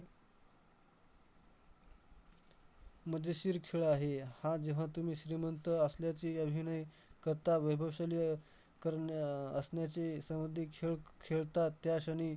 मजेशीर खेळ आहे, हा जेव्हा तुम्ही श्रीमंत असल्याचे अभिनय करतात, वैभवशाली करण्या अह असण्याचे खेळ खेळतात त्याक्षणी